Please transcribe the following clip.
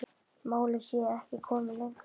Málið sé ekki komið lengra.